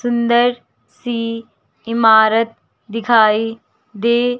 सुंदर सी इमारत दिखाई दे--